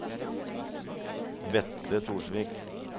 Vetle Torsvik